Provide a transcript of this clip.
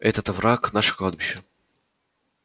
этот овраг наше кладбище